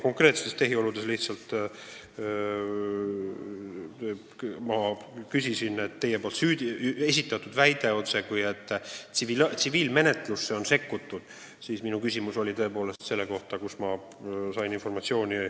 Te väitsite, et tsiviilmenetlusse on sekkutud, ja küsisite, kust ma sain asjaomast informatsiooni.